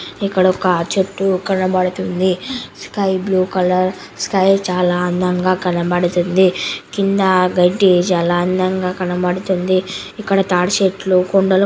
ఇక్కడొక చెట్టు కనబడుతుంది. స్కై బ్లూ కలర్ స్కై చాలా అందంగా కనబడుతుంది. కింద ఆ గడ్డి అందంగా కనబడుతుంది.